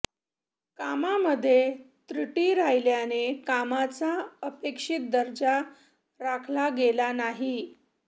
कामामध्ये त्रुटी राहिल्याने कामाचा अपेक्षित दर्जा राखला गेला नाही